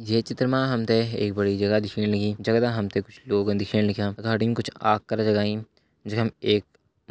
ये चित्र मा हम त एक बड़ी जगह दिखेण लगीं जगदा हम त कुछ लोग दिखेण लग्यां अगाड़ी कुछ आग कर जगाईं जख मा एक